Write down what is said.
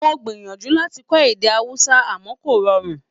Mo gbìyànjú láti kọ́ èdè Hausa àmọ́ kò rọrùn.